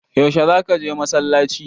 Yaushe za ka je masallaci?